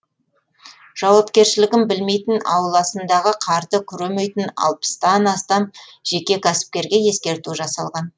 жауапкершілігін білмейтін ауласындағы қарды күремейтін алпыстан астам жеке кәсіпкерге ескерту жасалған